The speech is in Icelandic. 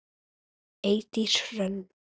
Eydís Hrönn.